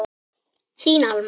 Þín Alma.